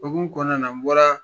Hokumu kɔnɔna na n bɔra